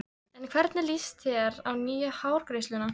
En hvernig líst þér á nýju hárgreiðsluna?